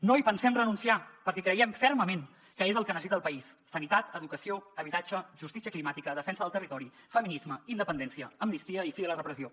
no hi pensem renunciar perquè creiem fermament que és el que necessita el país sanitat educació habitatge justícia climàtica defensa del territori feminisme independència amnistia i fi de la repressió